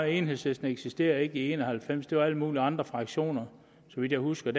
enhedslisten eksisterede ikke i nitten en og halvfems det var alle mulige andre fraktioner så vidt jeg husker